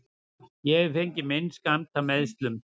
Ég hef fengið minn skammt af meiðslum.